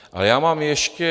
A já mám ještě...